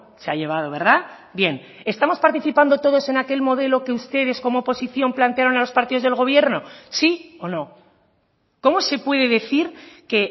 se ha llevado verdad bien estamos participando todos en aquel modelo que ustedes como oposición plantearon a los partidos del gobierno sí o no cómo se puede decir que